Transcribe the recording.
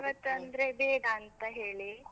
ಇವತ್ತಂದ್ರೆ ಬೇಡ ಅಂತ ಹೇಳಿ.